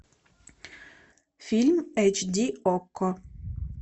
фильм эйч ди окко